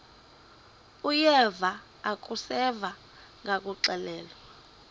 uyeva akuseva ngakuxelelwa